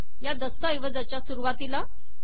या दस्तऐवजाच्या सुरुवातीला